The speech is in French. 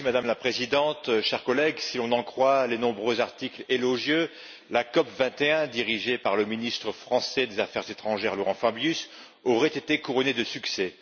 Madame la Présidente, chers collègues, si l'on en croit les nombreux articles élogieux, la COP 21 dirigée par le ministre français des affaires étrangères, Laurent Fabius aurait été couronnée de succès.